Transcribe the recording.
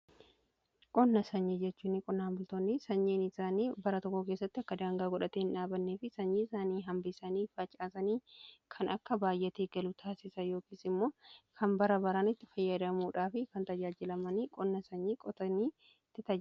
Qonna sanyii jechuun qonnaan bultoonni sanyiin isaanii bara tokko keessatti akka daangaa godhatee hin dhaabannee fi sanyii isaanii hambisanii, facaasanii kan akka baay'atee galu taasisan yookiis immoo kan bara baraan itti fayyadamuudhaa fi kan tajaajilamanii qonna sanyii qotanii tti tajaajilamanidha.